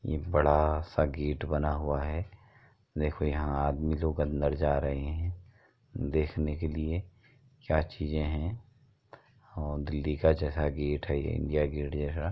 ये बड़ा सा गेट बना हुआ है। देखो यहाँ आदमी लोग अंदर जा रहे हैं देखने के लिए क्या चीज़े हैं और दिल्ली का जैसा गेट है ये इंडिया गेट जैसा --